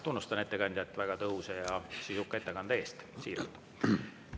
Tunnustan ettekandjat väga tõhusa ja sisuka ettekande eest – siiralt.